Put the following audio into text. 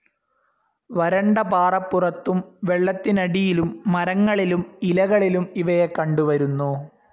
വരണ്ട പാറപ്പുറത്തും വെള്ളത്തിനടിയിലും മരങ്ങളിലും ഇലകളിലും ഇവയെ കണ്ടുവരുന്നു.